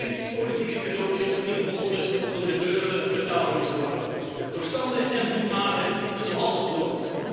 Geen politieke cadeautjes die vervolgens door de burger betaald moeten worden, maar verstandig en doelmatig besteden zoals het hoort.